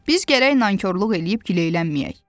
Biz gərək nankorluq eləyib gileylənməyək.